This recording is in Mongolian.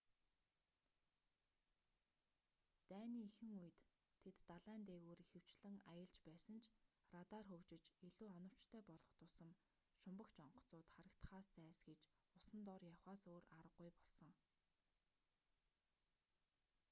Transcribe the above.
дайны эхэн үед тэд далайн дээгүүр ихэвчлэн аялж байсан ч радар хөгжиж илүү оновчтой болох тусам шумбагч онгоцууд харагдахаас зайлсхийж усан дор явахаас өөр аргагүй болсон